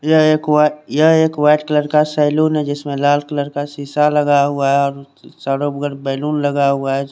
यह एक white colour का सैलून है जिसमे लाल कलर का शीशा लगा हुआ है बैलून लगा हुआ है।